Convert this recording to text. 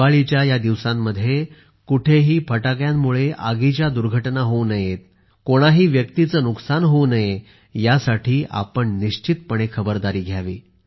दिवाळीच्या या दिवसांमध्ये कुठेही फटाक्यांमुळे आगीच्या दुर्घटना होऊ नयेत कोणाही व्यक्तीचे नुकसान होऊ नये यासाठी आपण निश्चितच खबरदारी घ्यावी